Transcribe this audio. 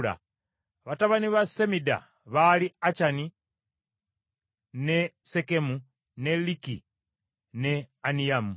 Batabani ba Semida baali Akyani, ne Sekemu, ne Liki ne Aniyamu.